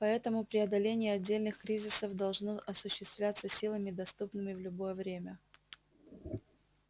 поэтому преодоление отдельных кризисов должно осуществляться силами доступными в любое время